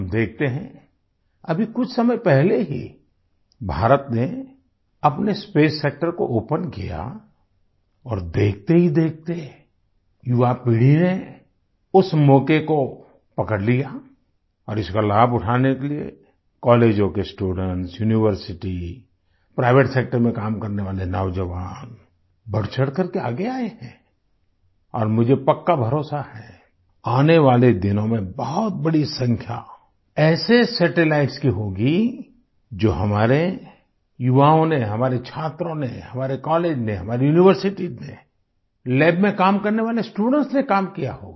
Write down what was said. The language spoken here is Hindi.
हम देखते हैं अभी कुछ समय पहले ही भारत ने अपने स्पेस सेक्टर को ओपन किया और देखते ही देखते युवा पीढ़ी ने उस मौके को पकड़ लिया और इसका लाभ उठाने के लिए कॉलेजों के स्टूडेंट्स यूनिवर्सिटी प्राइवेट सेक्टर में काम करने वाले नौजवान बढ़चढ़ करके आगे आए हैं और मुझे पक्का भरोसा है आने वाले दिनों में बहुत बड़ी संख्या ऐसे सैटेलाइट्स की होगी जो हमारे युवाओं ने हमारे छात्रों ने हमारे कॉलेज ने हमारी यूनिवर्सिटीज ने लैब में काम करने वाले स्टूडेंट्स ने काम किया होगा